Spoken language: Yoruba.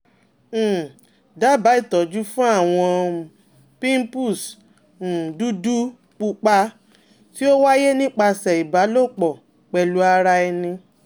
um Daba itọju fun awọn um pimples um dudu pupa ti o waye nipasẹ iba lopo pelu ara eni